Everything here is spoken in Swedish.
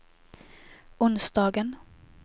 onsdagen